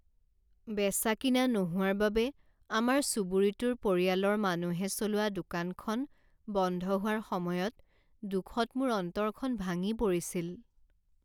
বেচা কিনা নোহোৱাৰ বাবে আমাৰ চুবুৰীটোৰ পৰিয়ালৰ মানুহে চলোৱা দোকানখন বন্ধ হোৱাৰ সময়ত দুখত মোৰ অন্তৰখন ভাঙি পৰিছিল।